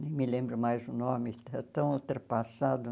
Nem me lembro mais o nome, é tão ultrapassado.